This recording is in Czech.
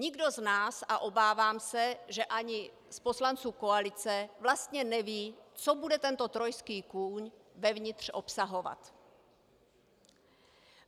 Nikdo z nás, a obávám se, že ani z poslanců koalice, vlastně neví, co bude tento trojský kůň vevnitř obsahovat.